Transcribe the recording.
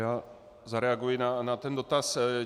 Já zareaguji na ten dotaz.